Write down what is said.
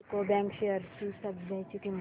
UCO bank shares ची सध्याची किंमत